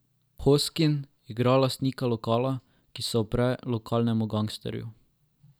Hoskin igra lastnika lokala, ki se upre lokalnemu gangsterju.